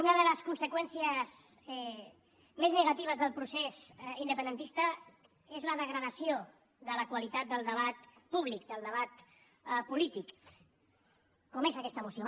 una de les conseqüències més negatives del procés independentista és la degradació de la qualitat del debat públic del debat polític com és aquesta moció